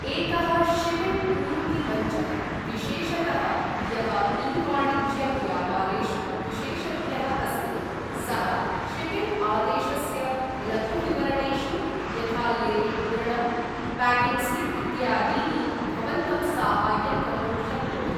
एकः शिपिङ्ग पूर्ति मञ्चः, विशेषतः यः ई वाणिज्य व्यापारेषु विशेषज्ञः अस्ति, सः शिपिङ्ग आदेशस्य लघु विवरणेषु, यथा लेबल् मुद्रणं, पैकिंग् स्लिप् इत्यादीनि, भवन्तं साहाय्यं कर्तुं शक्नोति